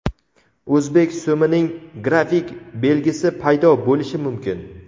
O‘zbek so‘mining grafik belgisi paydo bo‘lishi mumkin.